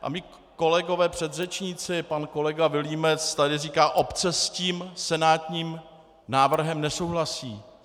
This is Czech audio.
A mí kolegové předřečníci, pan kolega Vilímec tady říká: Obce s tím senátním návrhem nesouhlasí.